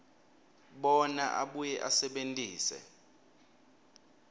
bona abuye asebentise